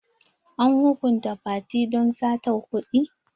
An hukunta fati don sata kuɗi?